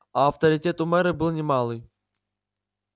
а авторитет у мэра был не малый